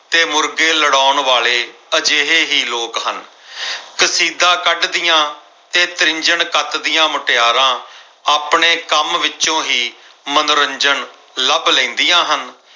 ਮੁਰਗੇ ਲੜਾਉਣ ਵਾਲੇ ਇਹ ਕਰਤਾ ਅਜਿਹੇ ਹੀ ਲੋਕ ਹਨ। ਕਸੀਦਾ ਕੱਢਦੀਆਂ ਤੇ ਤ੍ਰਿੰਝਣ ਕੱਤਦੀਆਂ ਮੁਟਿਆਰਾਂ ਆਪਣੇ ਕੰਮ ਵਿੱਚੋਂ ਹੀ ਮਨੋਰੰਜਨ ਲੱਭ ਲੈਦੀਆਂ ਹਨ।